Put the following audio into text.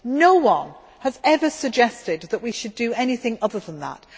No one has ever suggested that we should do anything other than that.